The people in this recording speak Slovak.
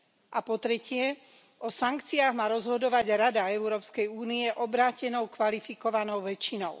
A po tretie, o sankciách má rozhodovať Rada Európskej únie obrátenou kvalifikovanou väčšinou.